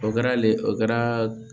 O kɛra le o kɛra